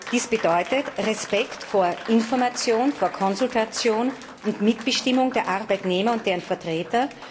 Dies bedeutet Respekt vor Information und Konsultation sowie Mitbestimmung der Arbeitnehmer und ihrer Vertreter.